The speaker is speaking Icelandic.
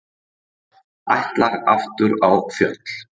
Ætlar aftur á fjöll